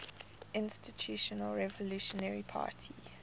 institutional revolutionary party